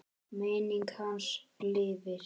Minning hans lifir.